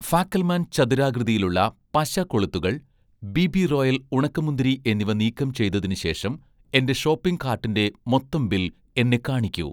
ഫാക്കൽമാൻ ചതുരാകൃതിയിലുള്ള പശ കൊളുത്തുകൾ', 'ബിബി റോയൽ' ഉണക്കമുന്തിരി എന്നിവ നീക്കം ചെയ്‌തതിന് ശേഷം, എന്‍റെ ഷോപ്പിംഗ് കാർട്ടിന്‍റെ മൊത്തം ബിൽ എന്നെ കാണിക്കൂ